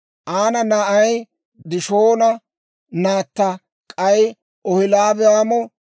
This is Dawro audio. Aana na'ay Dishoona; naatta k'ay Oholiibaamo.